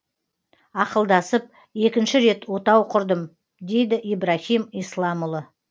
ақылдасып екінші рет отау құрдым дейді ибрахим исламұлы